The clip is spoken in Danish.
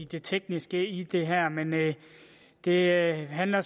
det tekniske i det her men det handler